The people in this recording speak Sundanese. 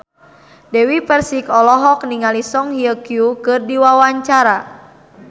Dewi Persik olohok ningali Song Hye Kyo keur diwawancara